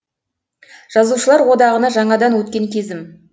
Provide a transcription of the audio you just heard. жазушылар одағына жаңадан өткен кезім